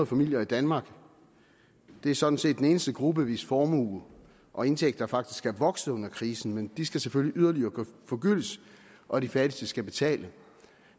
familier i danmark det er sådan set den eneste gruppe hvis formue og indtægter faktisk er vokset under krisen men de skal selvfølgelig yderligere forgyldes og de fattigste skal betale